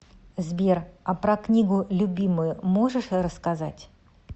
сбер а про книгу любимую можешь рассказать